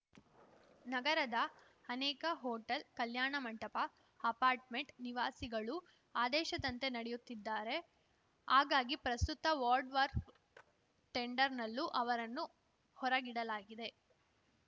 ನಗರದ ಅನೇಕ ಹೋಟೆಲ್‌ ಕಲ್ಯಾಣ ಮಂಟಪ ಅಪಾರ್ಟ್‌ಮೆಂಟ್‌ ನಿವಾಸಿಗಳು ಆದೇಶದಂತೆ ನಡೆಯುತ್ತಿದ್ದಾರೆ ಹಾಗಾಗಿ ಪ್ರಸ್ತುತ ವಾರ್ಡ್‌ವಾರ್ ಟೆಂಡರ್‌ನಲ್ಲೂ ಅವರನ್ನು ಹೊರಗಿಡಲಾಗಿದೆ